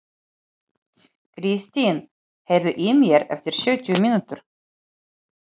Kristin, heyrðu í mér eftir sjötíu mínútur.